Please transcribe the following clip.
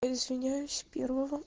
извиняюсь первого